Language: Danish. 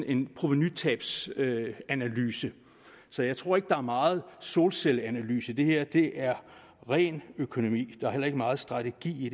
en provenutabsanalyse så jeg tror ikke at der er meget solcelleanalyse i det her det er ren økonomi der er heller ikke meget strategi i